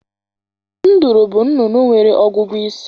Nduru bụ nnụnụ nwere ọgụgụ isi.